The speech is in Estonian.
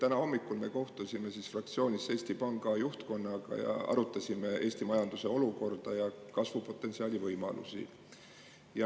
Täna hommikul me kohtusime fraktsioonis Eesti Panga juhtkonnaga ja arutasime Eesti majanduse olukorda ja kasvupotentsiaali.